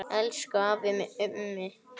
Elsku afi Mummi.